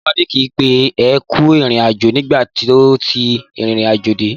Ìyàwó Ade ki pé ẹ kú ìrìnàjò nígbà tó ti ìrìnàjò dé.